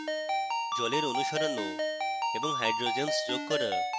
জলের অণু সরানো এবং hydrogens যোগ করা